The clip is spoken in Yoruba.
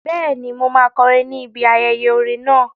Bẹ́ẹ̀ni, mo máa kọrin ni ibi ayẹyẹ orin náà